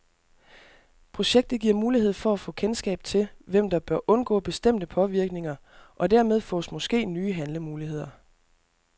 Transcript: Projektet giver mulighed for at få kendskab til, hvem der bør undgå bestemte påvirkninger, og dermed fås måske nye handlemuligheder.